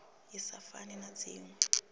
i sa fani na dzinwe